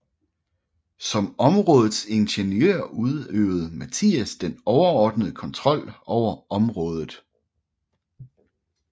Som områdets ingeniør udøvede Mathias den overordnede kontrol over området